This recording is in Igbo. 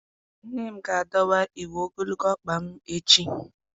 Nne m ga-adọwa uwe ogologo ọkpa m echi